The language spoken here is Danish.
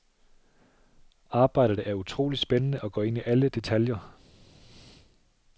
Arbejdet er utrolig spændende og går ind i alle detaljer.